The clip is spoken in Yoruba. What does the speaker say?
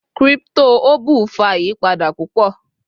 cripto oble fa iyipada pupo